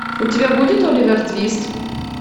у тебя будет оливер твист